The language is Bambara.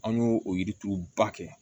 An y'o o yirituru ba kɛ